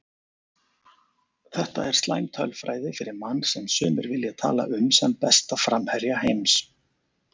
Þetta er slæm tölfræði fyrir mann sem sumir vilja tala um sem besta framherja heims.